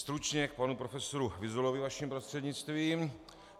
Stručně k panu profesoru Vyzulovi vaším prostřednictvím.